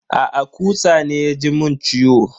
Aa, kutsa ne ya ji mun ciwo.